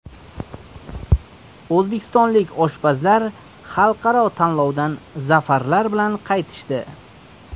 O‘zbekistonlik oshpazlar xalqaro tanlovdan zafarlar bilan qaytishdi.